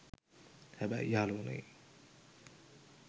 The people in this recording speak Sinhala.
හැබැයි යාළුවනේ